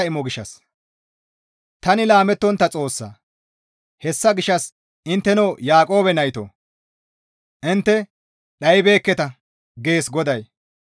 «Tani laamettontta Xoossa; hessa gishshas intteno Yaaqoobe naytoo! Intte dhaybeekketa» gees GODAY.